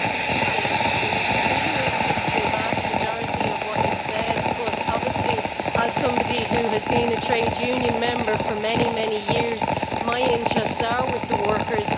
I agree with the vast majority of what you have said, but obviously, as somebody who has been a trade union member for many years, my interests are with the workers.